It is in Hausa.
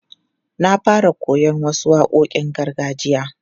Na fara koyon wasu waƙoƙin gargajiya.